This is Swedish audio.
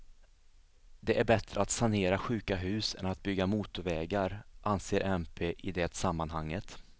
Det är bättre att sanera sjuka hus än att bygga motorvägar, anser mp i det sammanhanget.